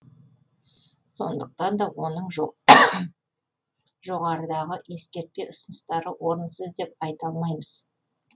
сондықтан да оның жоғарыдағы ескертпе ұсыныстары орынсыз деп айта алмаймыз